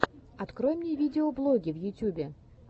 открой мне видеоблоги в ютюбе